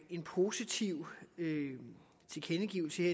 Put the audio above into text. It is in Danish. en positiv tilkendegivelse